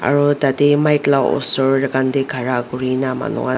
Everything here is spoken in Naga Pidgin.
aro tadae mic la osor khan dae khara kurina manu khan.